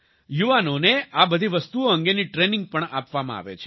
યુવાનોને આ બધી વસ્તુઓ અંગેની ટ્રેનિંગ પણ આપવામાં આવે છે